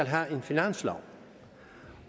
have en finanslov